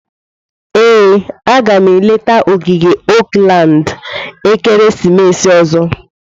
Ee, a ga m eleta ogige Oakland ekeresimesi ọzọ.